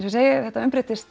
ég segi þetta